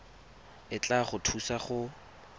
e tla go thusa go